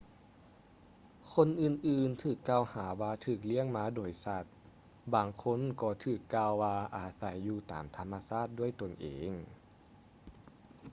ຄົນອື່ນໆຖືກກ່າວຫາວ່າຖືກລ້ຽງມາໂດຍສັດ ບາງຄົນກໍຖືກກ່າວວ່າອາໄສຢູ່ຕາມທຳມະຊາດດ້ວຍຕົນເອງ